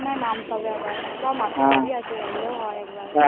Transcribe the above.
ওখানে মনে হয় নামতে হবে আবার, বা মাছের ভেড়ি আছে আইলেও হয় একবার